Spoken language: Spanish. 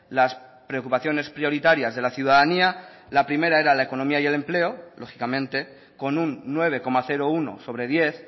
las preocupaciones prioritarias de la ciudadanía la primera era la economía y el empleo lógicamente con un nueve coma uno sobre diez